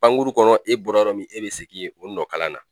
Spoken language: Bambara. Pankuru kɔnɔ e bɔra yɔrɔ min e bɛ segin yeno nɔ kalan na.